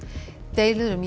deilur um